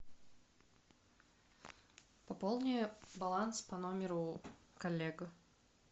пополни баланс по номеру коллега